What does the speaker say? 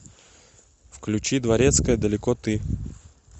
включи дворецкая далеко ты